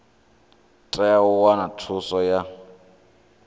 tea u wana thuso ya